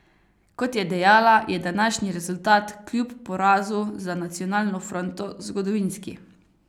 Kot je dejala, je današnji rezultat kljub porazu za Nacionalno fronto zgodovinski.